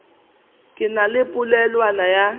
ke na le polelwana ya